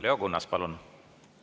Leo Kunnas, palun!